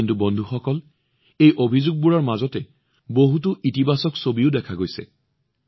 কিন্তু বন্ধুসকল এই অভিযোগবোৰৰ মাজত বহুতো ভাল ছবিও দেখা গৈছে